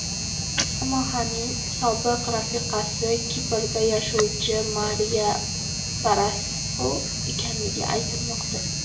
Samahaning sobiq rafiqasi Kiprda yashovcha Mariya Parasxu ekanligi aytilmoqda.